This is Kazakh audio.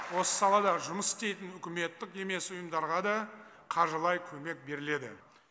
осы салада жұмыс істейтін үкіметтік емес ұйымдарға да қаржылай көмек беріледі